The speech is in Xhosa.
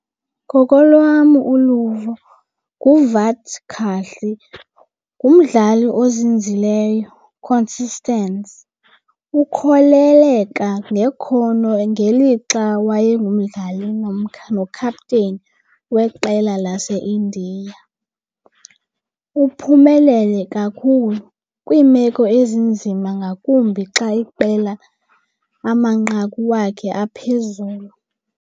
Ngokolwam uluvo nguVirat Kohli ngumdlali ozinzileyo consistence. Ukholeleka ngekhono ngelixa wayengumdlali nokhapteni weqela laseIndia. Uphumelele kakhulu kwiimeko ezinzima ngakumbi xa iqela amanqaku wakhe aphezulu.